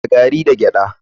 Da gari da gyada.